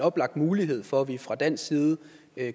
oplagt mulighed for at vi fra dansk side